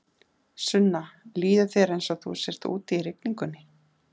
Sunna: Líður þér eins og þú sért úti í rigningunni?